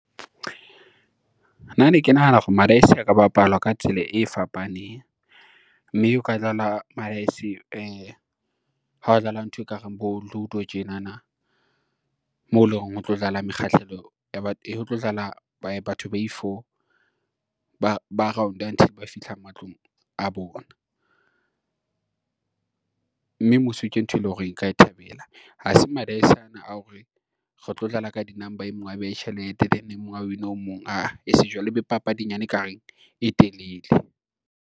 Nna ne ke nahana hore madaese a ka bapalwa ka tsela e fapaneng, mme o ka dlala madaese ha o dlala ntho ekareng bo ludo tjenana moo e leng hore ho tlo dlala batho ba i-four. Ba round-e until ba fihla matlong a bona, mme mmuso ke ntho e lore a ka e thabela, ha seng madaese ana a hore re tlo dlala ka di-number e mong a behe tjhelete then o mong a win-e o mong ae e seng jwale e be papadinyane ekareng e telele.